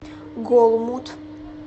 голмуд